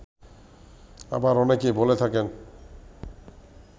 আবার অনেকেই বলে থাকেন